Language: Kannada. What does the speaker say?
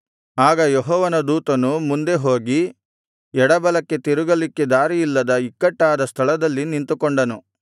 ಆಗ ಯೆಹೋವನ ದೂತನು ಮುಂದೆ ಹೋಗಿ ಎಡಬಲಕ್ಕೆ ತಿರುಗಲಿಕ್ಕೆ ದಾರಿಯಿಲ್ಲದ ಇಕ್ಕಟ್ಟಾದ ಸ್ಥಳದಲ್ಲಿ ನಿಂತುಕೊಂಡನು